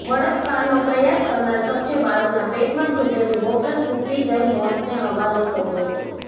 બળાત્કારનો પ્રયાસ કરનાર શખ્સે બાળકના પેટમાં તૂટેલી બોટલ ખૂંપી દઈ મોતને હવાલે કર્યો હતો